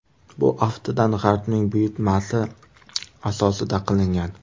Bu, aftidan, G‘arbning buyurtmasi asosida qilingan.